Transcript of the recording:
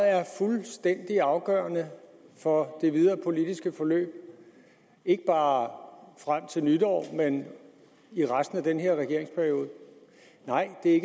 er fuldstændig afgørende for det videre politiske forløb ikke bare frem til nytår men i resten af den her regeringsperiode nej det er